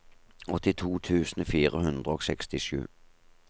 åttito tusen fire hundre og sekstisju